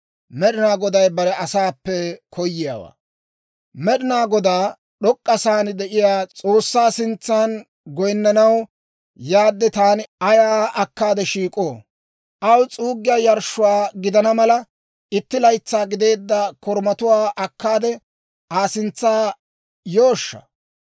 Med'inaa Godaa, d'ok'k'a sa'aan de'iyaa S'oossaa sintsan goyinnanaw yaadde taani ayaa akkaade shiik'oo? Aw s'uugettiyaa yarshshuwaa gidana mala, itti laytsaa gideedda korumatuwaa akkaade, Aa sintsa yooshsha?